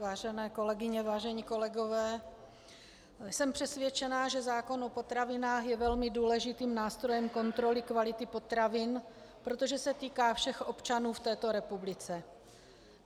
Vážené kolegyně, vážení kolegové, jsem přesvědčena, že zákon o potravinách je velmi důležitým nástrojem kontroly kvality potravin, protože se týká všech občanů v této republice.